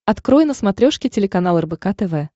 открой на смотрешке телеканал рбк тв